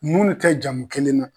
Munnu tɛ jamu kelen na